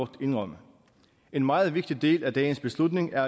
indrømme en meget vigtig del af dagens beslutning er